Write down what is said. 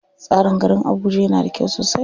Tsarin garin Abuja yana da kyau sosai.